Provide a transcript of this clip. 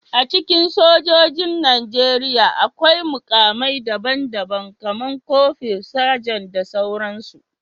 A cikin sojojin Najeriya, akwai mukamai daban-daban, kamar kofur, Sajan, da sauransu